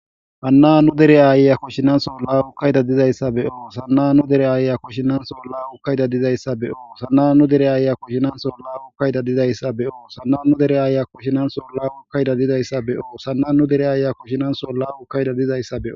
Hanna nu dere aaya kushshinan so la ukayida dizayssabeo sanna nu dere aaya kushshinansola ukkayida dizayssabe o sana nu dere aaya kushshinan sola ukkayida dizayssabe o sana nu dere aaya kushshinan solla ukkayida dizayssabe oo sana nu dere aaya kushshinan solla ukayda dizayssabeo.